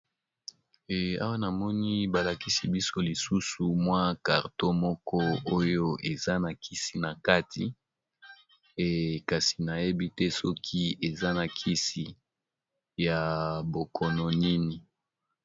Awa namoni balakisi biso lisusu mwa karto moko oyo eza na kisi na kati kasi nayebi te soki eza na kisi ya bokono nini.